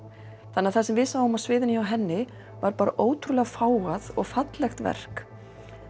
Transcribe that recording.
þannig að það sem við sáum á sviðinu hjá henni var bara ótrúlega fágað og fallegt verk